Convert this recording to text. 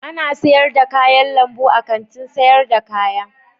Ana sayar da kayan lambu a Kantin sayar da kaya.